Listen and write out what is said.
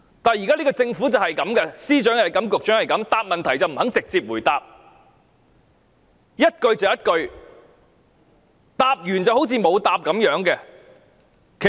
但是，這個政府就是這樣，司長是這樣，局長也是這樣，不肯直接回答問題，問一句答一句，答完都好像沒有答過一様。